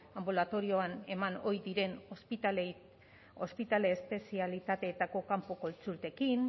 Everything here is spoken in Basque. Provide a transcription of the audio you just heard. anbulatorioan eman ohi diren ospitale espezialitateetako kanpo kontsultekin